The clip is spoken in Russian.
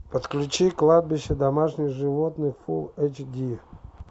подключи кладбище домашних животных фул эйч ди